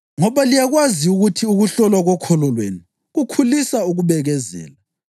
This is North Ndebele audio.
ngoba liyakwazi ukuthi ukuhlolwa kokholo lwenu kukhulisa ukubekezela.